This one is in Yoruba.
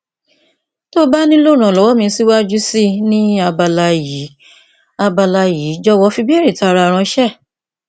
ti o ba nilo iranlọwọ mi siwaju sii ni abala yii abala yii jọwọ fi ibeere taara ranṣẹ